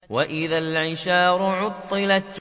وَإِذَا الْعِشَارُ عُطِّلَتْ